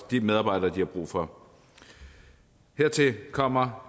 de medarbejdere de har brug for hertil kommer